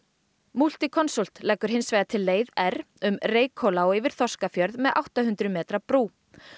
Multiconsult leggur hins vegar til leið r um Reykhóla og yfir Þorskafjörð með átta hundruð metra brú